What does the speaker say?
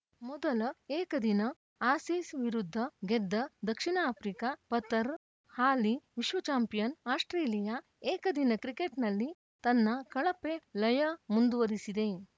ಮೊದಲ ಏಕದಿನ ಆಸೀಸ್‌ ವಿರುದ್ಧ ಗೆದ್ದ ದಕ್ಷಿಣ ಆಫ್ರಿಕಾ ಪತರ್ ಹಾಲಿ ವಿಶ್ವ ಚಾಂಪಿಯನ್‌ ಆಸ್ಪ್ರೇಲಿಯಾ ಏಕದಿನ ಕ್ರಿಕೆಟ್‌ನಲ್ಲಿ ತನ್ನ ಕಳಪೆ ಲಯ ಮುಂದುವರಿಸಿದೆ